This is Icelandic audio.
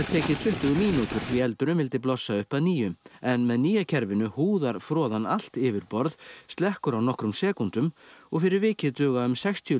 tekið tuttugu mínútur því eldurinn vildi blossa upp að nýju en með nýja kerfinu húðar froðan allt yfirborð slekkur á nokkrum sekúndum og fyrir vikið duga um sextíu